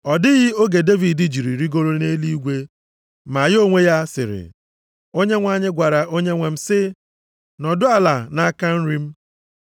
Ọ dịghị oge Devid jiri rigoro nʼeluigwe, ma ya onwe ya sịrị, “ ‘Onyenwe anyị gwara Onyenwe m sị, “Nọdụ ala nʼaka nri m,